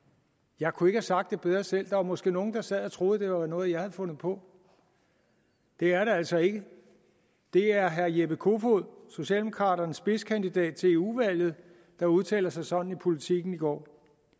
jeg kunne ikke have sagt det bedre selv der var måske nogle der sad og troede at det var noget som jeg havde fundet på det er det altså ikke det er herre jeppe kofod socialdemokraternes spidskandidat til eu valget der udtalte sig sådan i politiken i går